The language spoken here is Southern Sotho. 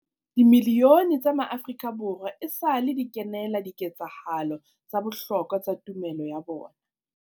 Dimilione tsa maAfrika Borwa esale di kenela di ketsahalo tsa bohlokwa tsa tumelo ya bona.